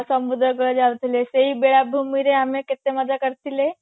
ସମୁଦ୍ର କୁଳ ଯାଉଥିଲେ ସେଇ ବେଳ ଭୂମିରେ ଆମେ କେତେ ମଜା କରିଥିଲେ